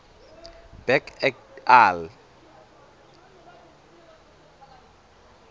berg et al